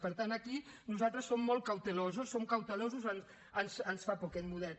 per tant aquí nosaltres som molt cautelosos som cautelosos ens fa por aquest model